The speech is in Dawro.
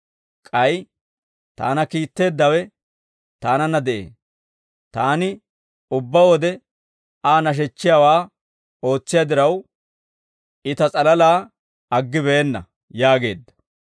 K'ay taana kiitteeddawe Taananna de'ee; Taani ubbaa wode Aa nashechchiyaawaa ootsiyaa diraw, I Ta s'alalaa aggibeenna» yaageedda.